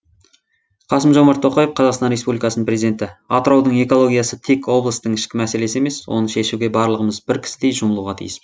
қасым жомарт тоқаев қазақстан республикасының президенті атыраудың экологиясы тек облыстың ішкі мәселесі емес оны шешуге барлығымыз бір кісідей жұмылуға тиіспіз